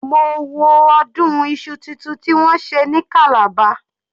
Mo wo ọdún Isu títun tí wọ́n ṣe ní calabar.